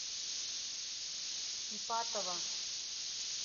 ипатова